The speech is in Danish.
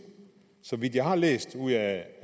så vidt jeg har kunnet læse ud af